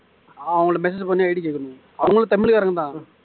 அவங்கள்ட்ட message பண்ணி ID கேட்கணும் அவங்களும் தமிழ் காரங்க தான்